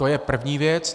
To je první věc.